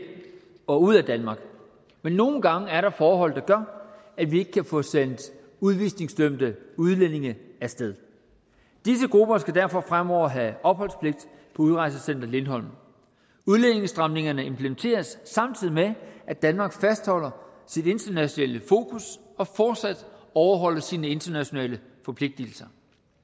og ud af danmark men nogle gange er der forhold der gør at vi ikke kan få sendt udvisningsdømte udlændinge af sted disse grupper skal derfor fremover have opholdspligt på udrejsecenter lindholm udlændingestramningerne implementeres samtidig med at danmark fastholder sit internationale fokus og fortsat overholder sine internationale forpligtelser